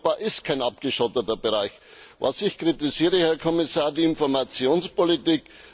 Europa ist kein abgeschotteter Bereich. Was ich kritisiere, Herr Kommissar, ist die Informationspolitik.